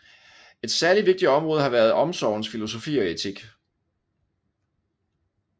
Et særligt vigtigt område har været omsorgens filosofi og etik